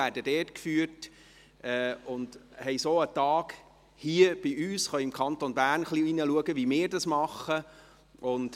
So haben sie einen Tag hier bei uns und können ein bisschen reinschauen, wie wir es im Kanton Bern machen.